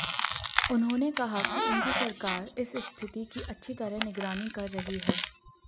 उन्होंने कहा कि उनकी सरकार इस स्थिति की अच्छी तरह निगरानी कर रही है